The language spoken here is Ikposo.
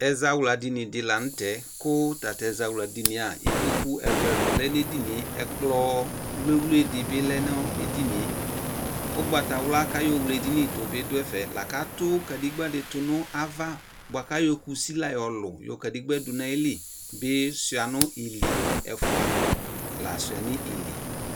Ɛzawla dinidi lanʋtɛ ikpkʋ ɛlʋɛ ɛlʋɛ dʋ ɛzawla dinie ɛkplɔ wliwli dini bi lɛnʋ edinie ʋgbatawla wle edinidʋ bi dʋ ɛfe tunu ava buaju ayɔ kusi la yɔlʋ du kadegba dunu ayili yɔ suia ɛfɛ